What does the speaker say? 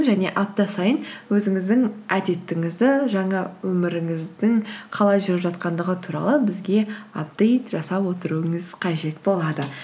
және апта сайын өзіңіздің әдетіңізді жаңа өміріңіздің қалай жүріп жатқандығы туралы бізге апдейт жасап отыруыңыз қажет болады